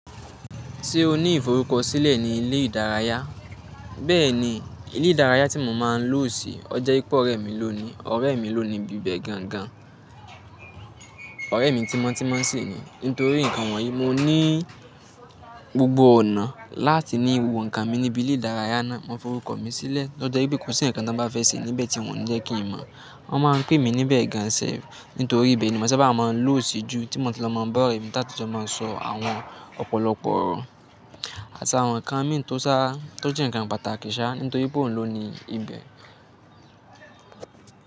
Ṣé o ní ìforúkọ sílẹ̀ ní ilé ìdárayá? Bẹ́ẹ̀ni, ilé ìdárayá tí mo máa ń lò sí, ọje wíp'ọ̀rẹ́ mi ló ni. Ọ̀rẹ́ mi ló nibi bẹ̀ gangan. Ọ̀rẹ́ mi tímọ́ tímọ́ sì ni. Nítorí nǹkan wọ̀nyí, mo ní gbogbo ọ̀nà láti ni wo nǹkan mi níbi ilé ìdárayá náà. Wọ́n forúkọ mi sílẹ̀. Ó jọ́ pé kò sí nǹkan tan bá fẹ́ ṣe níbẹ̀ tí wọ́n ò ní jẹ́ kí n mọ̀. Wọ́n máa ń pè mí níbẹ̀ gan self, nítorí ibẹ̀ ni mo sábà máa ń lò sí jù tí mo ti lo mo ń ba ọ̀rẹ́ mi taáti jọ̀ mo sọ̀ awọ̀n ọ̀pọ̀lọpọ̀ ọ̀rọ̀ àti àwọn nǹkan mi tó sá, tó jẹ́ nǹkan pàtàkì ṣá nítorí pé òun ló ni ibẹ̀.